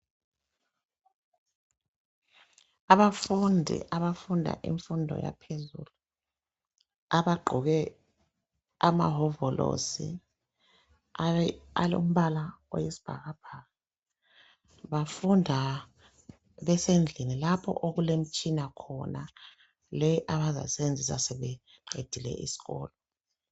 Abafundi abafunda imfundo yaphezulu. Abagqoke amahovolosi alombala oyisibhakabhaka. Bafunda besendlini lapho okulemtshina khona. Le abazayisebenzisa sebeqedile isikolo.